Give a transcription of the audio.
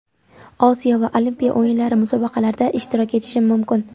Osiyo va Olimpiya o‘yinlari Musobaqalarda ishtirok etishim mumkin.